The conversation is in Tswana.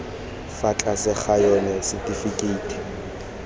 fa tlase ga yona setifikeiti